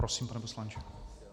Prosím, pane poslanče.